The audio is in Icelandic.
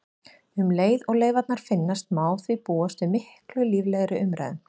Um leið og leifarnar finnast má því búast við miklu líflegri umræðum.